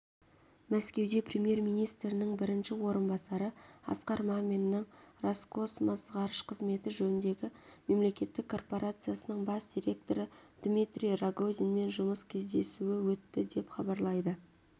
мәскеуде премьер-министрінің бірінші орынбасары асқар маминнің роскосмос ғарыш қызметі жөніндегі мемлекеттік корпорациясының бас директоры дмитрий рогозинмен жұмыс кездесуі өтті деп хабарлайды